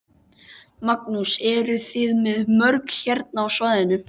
Magnús: Eruð þið með mörg hérna á svæðinu?